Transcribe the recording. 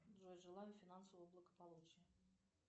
джой желаю финансового благополучия